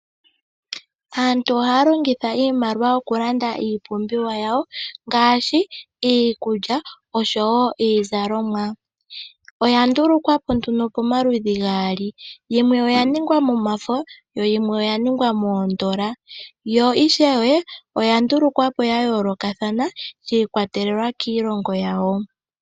Aantu ihaya longitha iimaliwa okulanda iipumbiwa yawo ngaashi iikulya osho woo iizalomwa. Oya ndulukwapo nduno pomaludhi gaali yomwe oya ningwa momafo yimwe oya ningwa moondola yo ishewe oya ndulukwapo yayoolokathana shi ikwatelela kiilongo yawo.